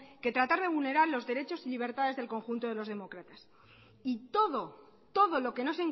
que tratar de vulnerar los derechos y libertades del conjunto de los demócratas y todo todo lo que no